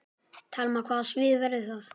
Telma: Hvaða svið verður það?